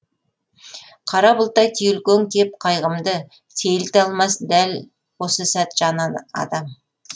қара бұлттай түйілген кеп қайғымды сейілте алмас дәл осы сәт жан адам